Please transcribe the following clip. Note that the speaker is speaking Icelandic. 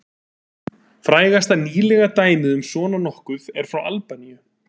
Frægasta nýlega dæmið um svona nokkuð er frá Albaníu.